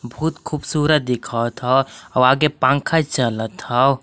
बहुत खूबसूरत दिखत ह औ आगे पंखा चलत हव।